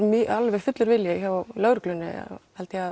alveg fullur vilji hjá lögreglunni held ég að